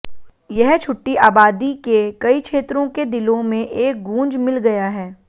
यह छुट्टी आबादी के कई क्षेत्रों के दिलों में एक गूंज मिल गया है